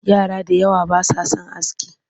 Yara da yawa ba sa son aski